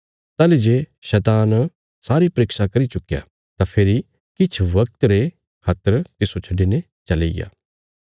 ताहली जे शैतान सारी परीक्षा करी चुक्कया तां फेरी किछ वगत रे खातर तिस्सो छड्डिने चलिग्या